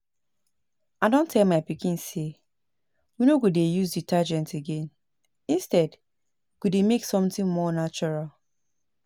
I don tell my pikin say we no go dey use detergent again instead we go make something more natural